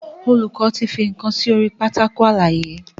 Olùkó tí fí nkán sórí Pátákó àlàyé.